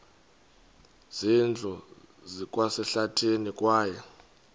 zindlu zikwasehlathini kwaye